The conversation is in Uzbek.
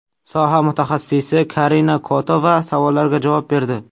Soha mutaxassisi Karina Kotova savollarga javob berdi .